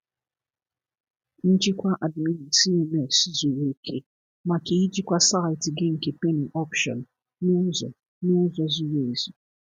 Njikwa Admin CMS zuru oke maka ijikwa saịtị gị nke penny auction n’ụzọ n’ụzọ zuru ezu.